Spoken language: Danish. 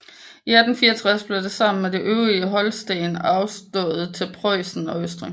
I 1864 blev det sammen med det øvrige Holsten afstået til Preussen og Østrig